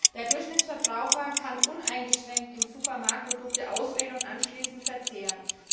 Der Durchschnittsverbraucher kann uneingeschränkt im Supermarkt Produkte auswählen und anschließend verzehren.